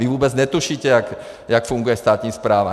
Vy vůbec netušíte, jak funguje státní správa.